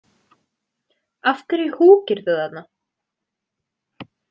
Af hverju húkirðu þarna?